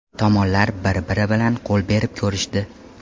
Tomonlar bir-biri bilan qo‘l berib ko‘rishdi.